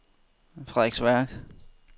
Frederiksværk